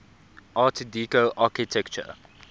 art deco architecture